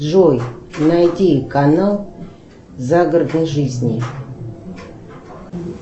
джой найди канал загородной жизни